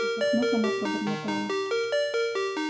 вздохнув она пробормотала